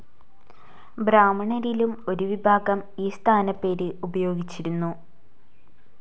ബ്രാഹ്മണരിലും ഒരുവിഭാഗം ഈ സ്ഥാനപ്പേര് ഉപയോഗിച്ചിരുന്നു.